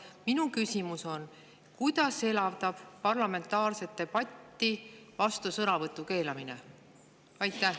Minu küsimus on: kuidas elavdab parlamentaarset debatti vastusõnavõtu keelamine?